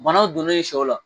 Bana donnen i sɛw la